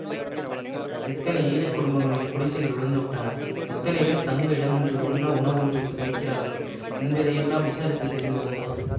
எத்தனை ஏழை குடும்பங்களின் குடிசைகள் விழுந்துவிட்டன எத்தனை பேர் தங்க இடமின்றி உண்ண உணவின்றி தவிக்கிறார்கள் என்பதை யெல்லாம் விசாரித்து தெரிந்து கொண்டான்